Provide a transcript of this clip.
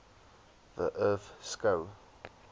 the earth skou